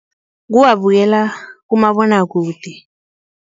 Kuwabukela kumabonwakude.